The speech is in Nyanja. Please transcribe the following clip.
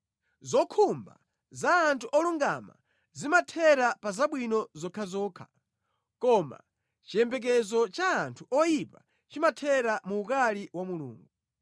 Zokhumba za anthu olungama zimathera pa zabwino zokhazokha, koma chiyembekezo cha anthu oyipa chimathera mu ukali wa Mulungu.